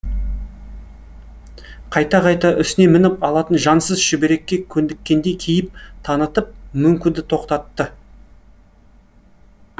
қайта қайта үстіне мініп алатын жансыз шүберекке көндіккендей кейіп танытып мөңкуді тоқтатты